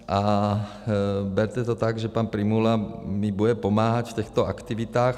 A berte to tak, že pan Prymula mi bude pomáhat v těchto aktivitách.